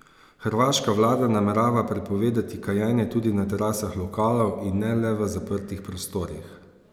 Hrvaška vlada namerava prepovedati kajenje tudi na terasah lokalov in ne le v zaprtih prostorih.